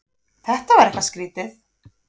Þetta var eitthvað skrýtið.